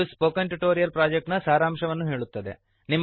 ಇದು spoken tutorial project ನ ಸಾರಾಂಶವನ್ನು ಹೇಳುತ್ತದೆ